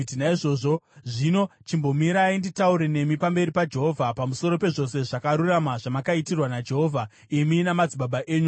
Naizvozvo zvino chimbomirai nditaure nemi pamberi paJehovha pamusoro pezvose zvakarurama zvamakaitirwa naJehovha, imi namadzibaba enyu.